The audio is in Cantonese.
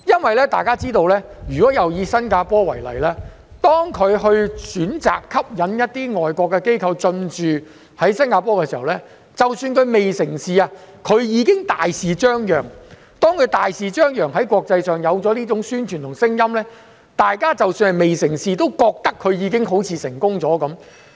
大家也知道，如果再以新加坡為例，當它選擇吸引一些外國機構進駐時，即使未成事前它已經會大肆張揚，而當它大肆張揚時，在國際上便會有種宣傳和聲音，即使未成事，大家也會認為它好像已經成功了。